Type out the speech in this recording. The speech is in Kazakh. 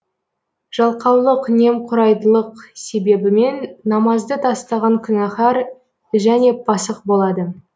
жалқаулық немқұрайдылық себебімен намазды тастаған күнәһар және пасық болады